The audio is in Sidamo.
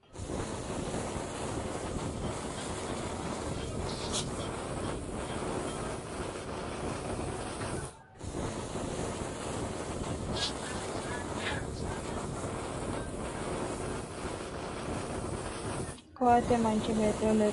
koatte manchi beettira lekkate dagganno gawajjo gargarate kaa'litannoti qaangannita ikkitanna, tenne koatte mayiinni loonsanni? tenne lekka giddo noo koatte dani hiittooho?